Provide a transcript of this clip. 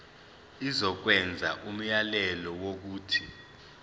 izokwenza umyalelo wokuthi